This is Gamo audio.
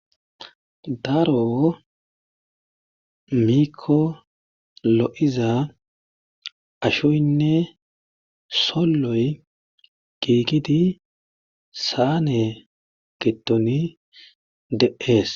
daro miko lo7iza ashoynne solloy giigidi saane getoni de7ees